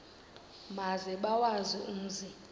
maze bawazi umzi